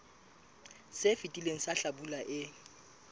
se fetileng sa hlabula e